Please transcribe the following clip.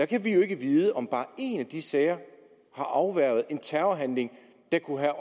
kan vi jo ikke vide om bare en af de sager har afværget en terrorhandling der kunne have